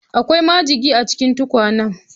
Akwai majigi a cikin tukwanan